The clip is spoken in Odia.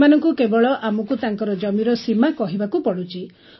ସେମାନଙ୍କୁ କେବଳ ଆମକୁ ତାଙ୍କର ଜମିର ସୀମା କହିବାକୁ ପଡ଼ୁଛି